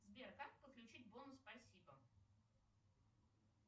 сбер как подключить бонус спасибо